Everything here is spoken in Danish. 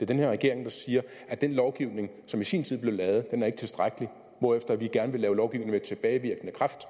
den her regering der siger at den lovgivning som i sin tid blev lavet ikke er tilstrækkelig hvorefter vi gerne vil lave lovgivning med tilbagevirkende kraft